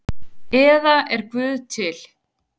eða Er Guð til?